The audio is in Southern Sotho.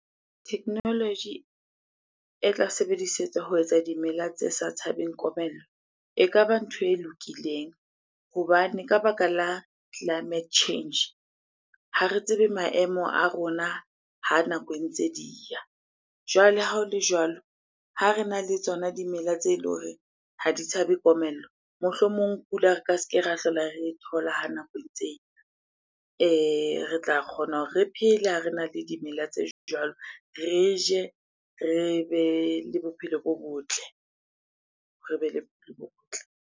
Technology e tla sebedisetswa ho etsa dimela tse sa tshabeng komello. Ekaba ntho e lokileng hobane ka baka la climate change, ha re tsebe maemo a rona ha nako ntse di ya. Jwale ha ho le jwalo, ha rena le tsona dimela tse le horeng ha di tshabe komello. Mohlomong pula re ka se ke ra hlola re e thola ha nako e ntse e ya. Re tla kgona hore re phele ha rena le dimela tse jwalo. Re je, re be le bophelo bo botle, re be le bophelo bo botle.